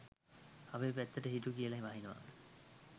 අපේ පැත්තට හිටු කියල වහිනවා